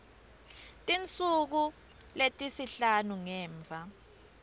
tinsuku letisihlanu ngemva